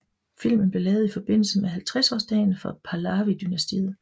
Filmen blev lavet i forbindelse med 50 års dagen for Pahlavi dynastiet